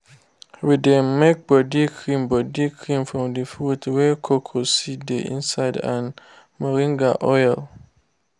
we dey make body cream body cream from the fruit wey cocoa seed dey inside and moringa oil.